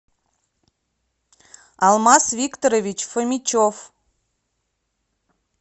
алмаз викторович фомичев